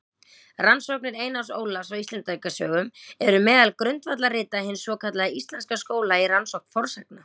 Rannsóknir Einars Ólafs á Íslendingasögum eru meðal grundvallarrita hins svokallaða íslenska skóla í rannsókn fornsagna.